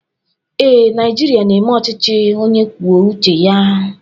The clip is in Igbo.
Ee, Naịjirịa na-eme ọchịchị onye kwuo uche ya.